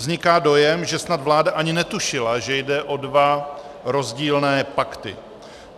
Vzniká dojem, že snad vláda ani netušila, že jde o dva rozdílné pakty.